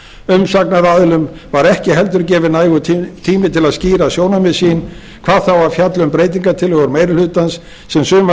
umsagnaraðilum var ekki heldur gefinn nægur tími til að skýra sjónarmið sín hvað þá að fjalla um breytingartillögur meiri hlutans sem sumar